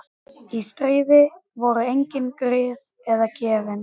Þangað til hann fær annan samastað